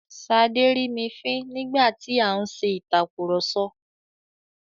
Ṣadé rí mi fín nígbà tí a ń ṣe ìtàkurọ̀sọ.